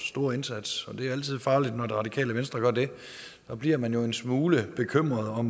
store indsats det er altid farligt når det radikale venstre gør det så bliver man jo en smule bekymret